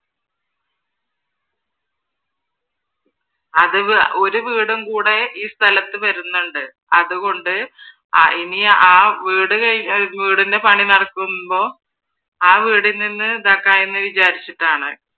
അത് ഒരു വീടും കൂടെ ഈ സ്ഥലത്ത് വരുന്നുണ്ട്. അതുകൊണ്ട് ഇനി ആ വീടിൻ്റെ പണി നടക്കുമ്പോ ആ വീട്ടിൽ നിന്നും ഇതാക്കാന്ന് വിചാരിച്ചിട്ടാണ്.